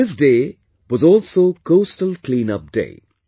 This day was also Coastal Clean Up Day